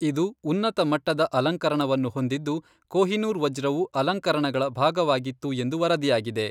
ಇದು ಉನ್ನತ ಮಟ್ಟದ ಅಲಂಕರಣವನ್ನು ಹೊಂದಿದ್ದು ಕೊಹಿನೂರ್ ವಜ್ರವು ಅಲಂಕರಣಗಳ ಭಾಗವಾಗಿತ್ತು ಎಂದು ವರದಿಯಾಗಿದೆ.